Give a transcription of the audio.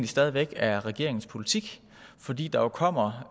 stadig væk er regeringens politik fordi der jo kommer